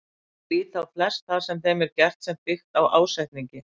Þeir líta á flest það sem þeim er gert sem byggt á ásetningi.